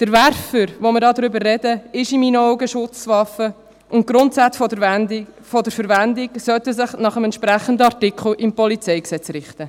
Der Werfer, über den wir hier sprechen, ist in meine Augen eine Schusswaffe, und die Grundsätze der Verwendung sollten sich nach dem entsprechenden Artikel im Polizeigesetz (PolG) richten.